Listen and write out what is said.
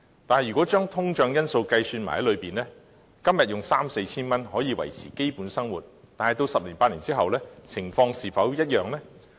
但如果將通脹因素計算在內，今天的三四千元可以維持基本生活，但在十年八年後，情況是否一樣呢？